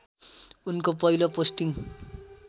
उनको पहिलो पोस्टिङ